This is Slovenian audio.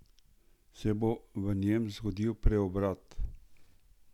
Se bo v njem zgodil preobrat?